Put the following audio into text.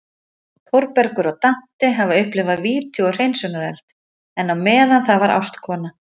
Þórbergur og Dante hafa upplifað víti og hreinsunareld, en á meðan það var ástkona